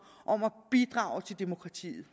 om at bidrage til demokratiet